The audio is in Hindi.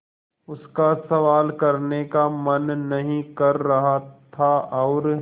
उसका सवाल करने का मन नहीं कर रहा था और